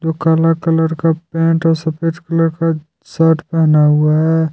जो काला कलर का पेंट और सफेद कलर का शर्त पहना हुआ हैं।